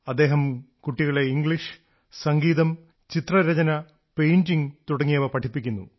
അദ്ദേഹം കുട്ടികളെ ഇംഗ്ലീഷ് സംഗീതം ചിത്രരചന പെയിന്റിംഗ് തുടങ്ങിയവ പഠിപ്പിക്കുന്നു